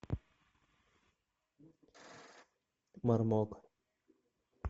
мармок